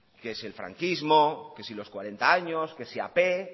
que si el franquismo que si los cuarenta años que si ap